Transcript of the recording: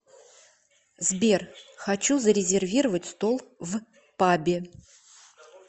сбер хочу зарезервировать стол в пабе